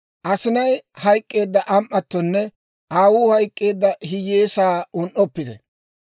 Asinay hayk'k'eedda am"attonne aawuu hayk'k'eedda hiyyeesaa un"oppite.